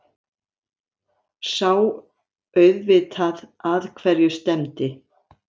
Sá auðvitað að hverju stefndi.